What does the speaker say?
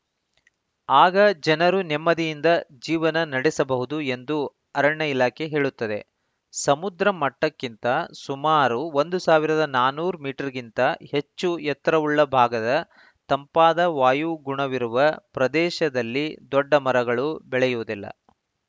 ಆಗ ಜನರು ನೆಮ್ಮದಿಯಿಂದ ಜೀವನ ನಡೆಸಬಹುದು ಎಂದು ಅರಣ್ಯ ಇಲಾಖೆ ಹೇಳುತ್ತದೆ ಸಮುದ್ರ ಮಟ್ಟಕ್ಕಿಂತ ಸುಮಾರು ಒಂದು ಸಾವಿರದ ನಾನೂರು ಮೀಟರ್ ಗಿಂತ ಹೆಚ್ಚು ಎತ್ತರವುಳ್ಳ ಭಾಗದ ತಂಪಾದ ವಾಯುಗುಣವಿರುವ ಪ್ರದೇಶದಲ್ಲಿ ದೊಡ್ಡ ಮರಗಳು ಬೆಳೆಯುವುದಿಲ್ಲ